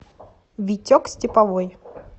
витек степовой